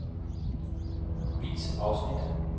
Vis afsnit.